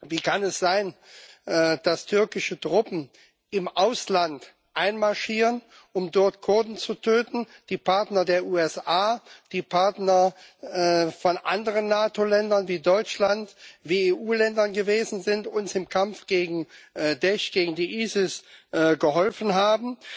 Wie kann es sein, dass türkische Truppen im Ausland einmarschieren, um dort Kurden zu töten, die Partner der USA, die Partner von anderen NATO Ländern wie Deutschland, wie EU Ländern gewesen sind und uns im Kampf gegen Da'esh, gegen ISIS geholfen haben?